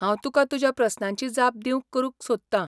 हांव तुका तुज्या प्रस्नांची जाप दिवंक करूंक सोदतां .